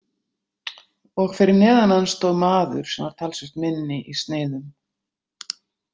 Og fyrir neðan hann stóð maður sem var talsvert minni í sniðum.